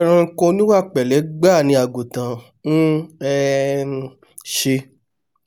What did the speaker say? ẹranko oníwà pẹ̀lẹ́ gbáà ni àgùntàn ń um ṣe